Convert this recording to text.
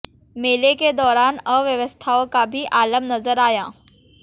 मेले के दौरान अव्यवस्थाओं का भी आलम नजर आया